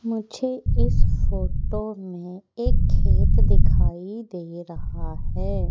मुझे इस फोटो में एक खेत दिखाई दे रहा है।